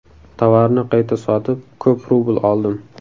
Tovarni qayta sotib, ko‘p rubl oldim.